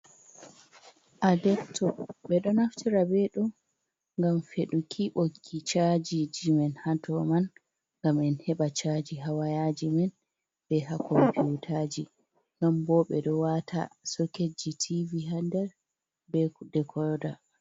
Adepto ɓe ɗo naftira be ɗum gam feduki ɓoggi chajiji men ha dow majum ngam en heba chaji ha wayaji men be ha kompiutaji, ɗon bo ɓe ɗo wata soketji tv hander be de koda.